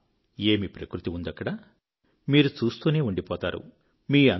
ఆహా ఏమి ప్రకృతి ఉందక్కడ మీరు చూస్తూనే ఉండిపోతారు